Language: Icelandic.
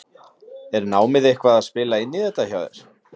Er námið eitthvað að spila inn í þetta hjá þér?